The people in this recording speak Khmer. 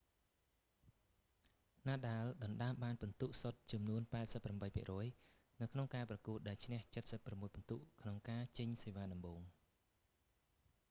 nadal ដណ្តើមបានពិន្ទុសុទ្ធចំនួន 88% នៅក្នុងការប្រកួត ដែលឈ្នះ 76 ពិន្ទុ ក្នុងការចេញសេវាដំបូង